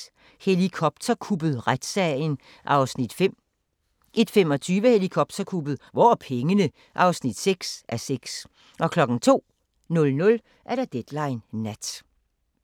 00:55: Helikopterkuppet – Retssagen (5:6) 01:25: Helikopterkuppet – Hvor er pengene? (6:6) 02:00: Deadline Nat